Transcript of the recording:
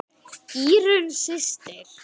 Írunn systir.